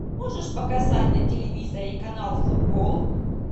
можешь показать на телевизоре канал футбол